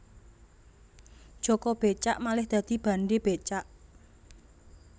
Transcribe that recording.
Jaka Becak malih dadi Bandhe Becak